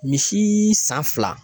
Misi san fila